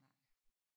Nej